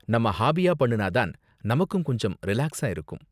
நம்ம ஹாபிய பண்ணுனா தான நமக்கும் கொஞ்சம் ரிலாக்ஸா இருக்கும்?